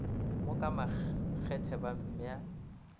mo ka makgethe ba mmea